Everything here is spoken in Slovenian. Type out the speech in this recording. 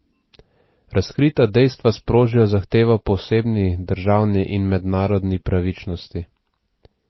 Razkrita dejstva sprožijo zahtevo po osebni, državni in mednarodni pravičnosti.